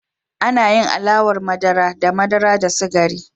Ana yin alawar madara da madara da sukari.